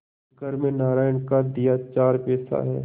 घर में नारायण का दिया चार पैसा है